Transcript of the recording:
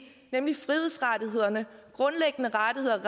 nemlig frihedsrettighederne grundlæggende rettigheder